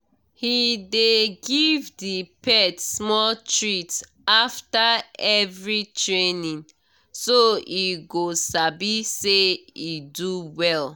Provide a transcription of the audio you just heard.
he dey give the pet small treat after every training so e go sabi say e do well.